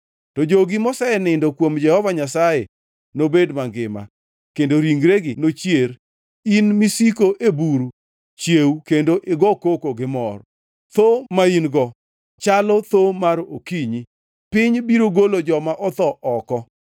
To jogi mosenindo kuom Jehova Nyasaye, nobed mangima, kendo ringregi nochier. In misiko e buru, chiew kendo igo koko gi mor. Thoo ma in-go chalo thoo mar okinyi, piny biro golo joma otho oko.